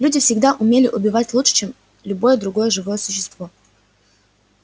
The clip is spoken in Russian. люди всегда умели убивать лучше чем любое другое живое существо